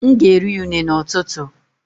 M ga-eri unne n’ụtụtụ